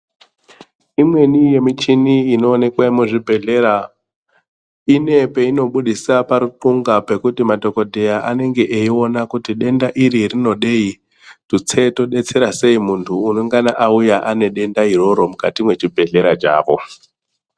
Imweni muchini inoonekwe muchibhedhleya ine peinobudisa parikunga pekuti madhokodheya anenge eiona kuti denda iri rinodei tutse todetsera sei muntu unongana auya ane denda iroro mukati mwechi bhedhleya chavo